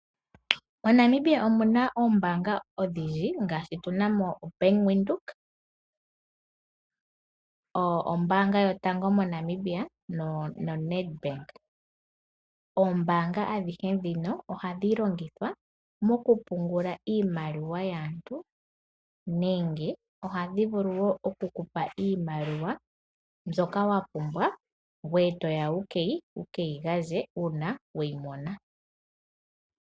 Monamibia omu na oombanga odhindji ngaashi tu na mo Bank widhoek, ombaanga yotango yopashigwana noNedbank. Oombaanga adhihe ndhino ohadhi longithwa mokupungula iimaliwa yaantu nenge ohadhi vulu wo okukupa iimaliwa mbyoka wa pumbwa ngweye to ya wu keyi gandje uuna we yi mona.